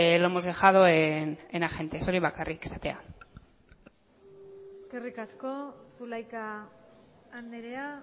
lo hemos dejado en agentes hori bakarrik esatea eskerrik asko zulaika andrea